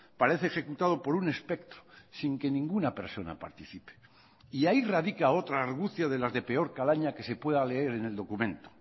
parece ejecutado por un espectro sin que ninguna persona participe y ahí radica otra argucia de las de peor calaña que se pueda leer en el documento